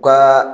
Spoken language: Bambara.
U ka